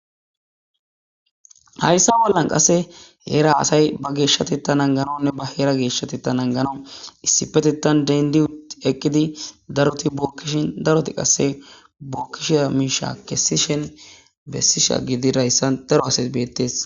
Hayssa bollan qasse heera asay ba geeshshati ta nanganonne ba heera geeshshati ta nangana issipeti tan dendiut eqqidi daroti bookkishin daroti qasse bookkish miisha kesishen bessisha gidi rayssa daro asay beettees.